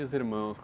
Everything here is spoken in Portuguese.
E os irmãos?